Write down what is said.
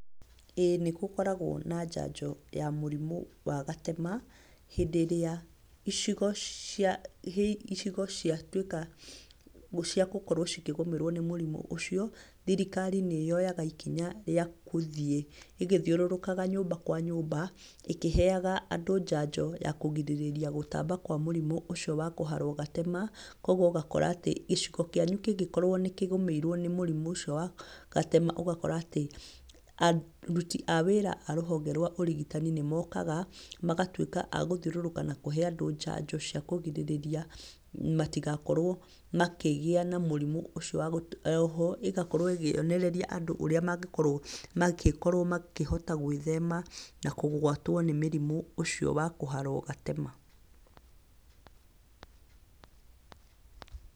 Ĩĩ nĩ gũkoragwo na njanjo ya mũrimũ wa gatema. Hĩndĩ ĩrĩa icigo ciatuĩka ciagũkorwo cikĩgũmĩrwo nĩ mũrimũ ũcio, thirikari nĩ yoyaga ikinya rĩa gũthiĩ ĩgĩthiũrũrũkaga nyũmba kwa nyũmba ĩkĩheaga andũ njanjo ya kũrigĩrĩria gũtamba kwa mũrimũ ũcio wa kũharwo gatema kũoguo ũgakorwo atĩ gĩcigo kĩanyũ ũkĩngĩkorwo nĩ kĩgũmĩirwo nĩ mũrimũ ũcio wa gatema ũgakora atĩ aruti a wĩra a rũhonge rwa ũrigitani nĩ mokaga magatuĩka a gũthiũrũrũka na kũhe andũ njanjo cia kũrigĩrĩria matigakorwo makĩgĩa na mũrimũ ũcio wa gatema , oho ĩgakorwo ĩkĩonereria andũ ũrĩa mangĩkorwo magĩkorwo makĩhota gwĩthema na kũgwatwo nĩ mĩrimũ ũcio wa kũharwo gatema.